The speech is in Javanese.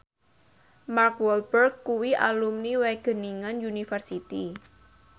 Mark Walberg kuwi alumni Wageningen University